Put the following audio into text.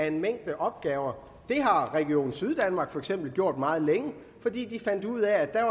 en mængde opgaver har region syddanmark for eksempel gjort meget længe fordi de fandt ud af at